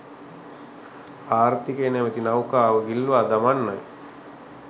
ආර්ථිකය නැමැති නෞකාව ගිල්වා දමන්නයි